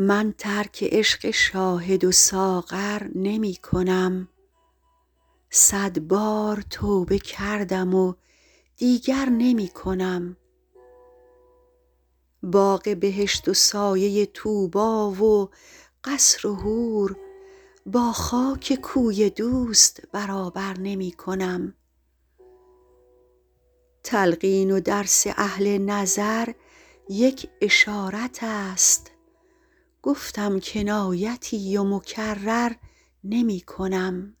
من ترک عشق شاهد و ساغر نمی کنم صد بار توبه کردم و دیگر نمی کنم باغ بهشت و سایه طوبی و قصر و حور با خاک کوی دوست برابر نمی کنم تلقین و درس اهل نظر یک اشارت است گفتم کنایتی و مکرر نمی کنم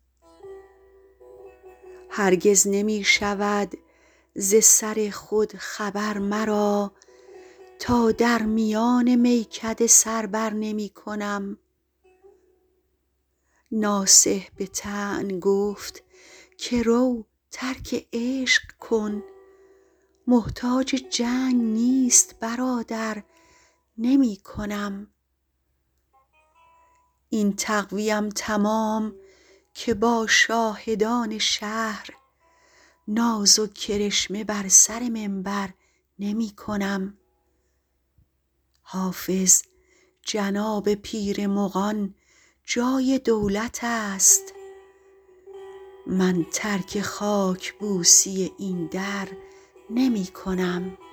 هرگز نمی شود ز سر خود خبر مرا تا در میان میکده سر بر نمی کنم ناصح به طعن گفت که رو ترک عشق کن محتاج جنگ نیست برادر نمی کنم این تقوی ام تمام که با شاهدان شهر ناز و کرشمه بر سر منبر نمی کنم حافظ جناب پیر مغان جای دولت است من ترک خاک بوسی این در نمی کنم